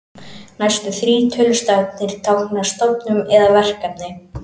Næstu þrír tölustafirnir tákna stofnun eða verkefni.